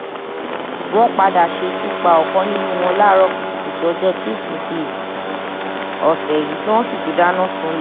wọ́n padà ṣekú pa ọ̀kan nínú wọn láàárọ̀ kùtùkùtù ọjọ́ ìṣègùn túṣídéé ọ̀sẹ̀ yìí tí wọ́n sì tún dáná sunlẹ̀